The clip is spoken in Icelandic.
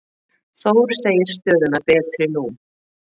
Þór segir stöðuna betri nú.